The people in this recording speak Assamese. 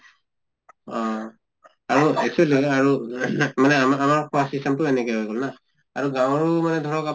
অহ আৰু actually ধৰা আৰু মানে আমাৰ আমাৰ খোৱা system তো এনেকে হৈ গʼল না। আৰু গাঁৱৰো ধৰক আপোনাৰ